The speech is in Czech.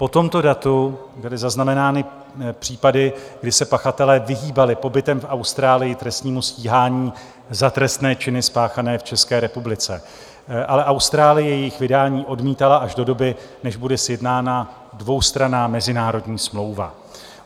Po tomto datu byly zaznamenány případy, kdy se pachatelé vyhýbali pobytem v Austrálii trestnímu stíhání za trestné činy spáchané v České republice, avšak Austrálie jejich vydání odmítala až do doby, než bude sjednána dvoustranná mezinárodní smlouva.